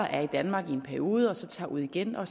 er i danmark i en periode og så tager ud igen og